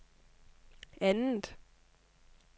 andet